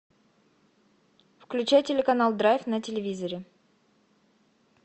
включай телеканал драйв на телевизоре